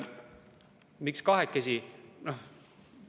Miks kahekesi?